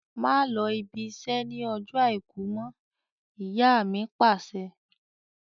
Má lọ ibi iṣẹ́ ni ọjọ́ Àìkú mọ! Ìyá mi Pàṣẹ.